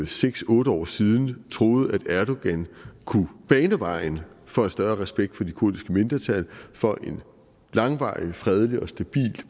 seks otte år siden troede at erdogan kunne bane vejen for en større respekt for det kurdiske mindretal for en langvarig fredelig og stabil